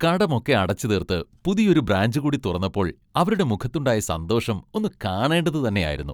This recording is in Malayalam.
കടമൊക്കെ അടച്ചുതീർത്ത് പുതിയൊരു ബ്രാഞ്ച് കൂടി തുറന്നപ്പോൾ അവരുടെ മുഖത്തുണ്ടായ സന്തോഷം ഒന്ന് കാണേണ്ടത് തന്നെയായിരുന്നു.